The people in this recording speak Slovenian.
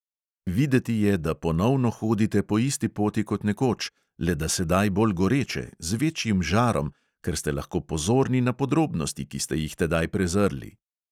Videti je, da ponovno hodite po isti poti kot nekoč, le da sedaj bolj goreče, z večjim žarom, ker ste lahko pozorni na podrobnosti, ki ste jih tedaj prezrli.